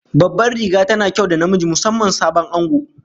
Babban riga tana kyau da namiji, musamman sabon ango